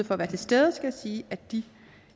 for at være til stede og sige at de